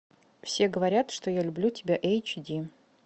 все говорят что я люблю тебя эйч ди